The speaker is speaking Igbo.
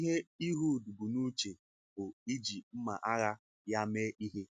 Ihe Ịhud bụ n’uche um bụ iji mma um ághà um ya mee ihe.